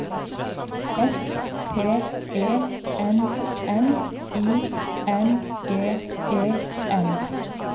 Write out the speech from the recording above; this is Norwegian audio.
S P E N N I N G E N